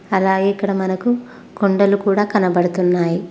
అలాగే ఇక్కడ మనకు కొండలు కూడా కనబడుతున్నాయి.